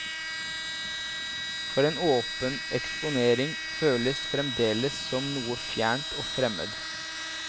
For en åpen eksponering føles fremdeles som noe fjernt og fremmed.